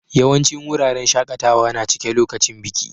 Yawancin wuraren shakatawa na cike lokacin biki.